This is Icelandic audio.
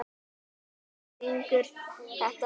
Dalí, hver syngur þetta lag?